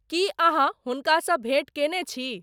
की अहाँहुनका स भेंट केने छी